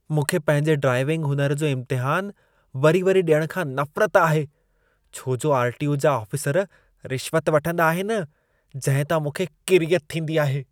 मूंखे पंहिंजे ड्राइविंग हुनुर जो इम्तिहान वरी-वरी ॾियण खां नफ़रत आहे। छो जो आर.टी.ओ. जा आफ़िसर रिश्वत वठंदा आहिनि, जंहिं तां मूंखे किरियत थींदी आहे।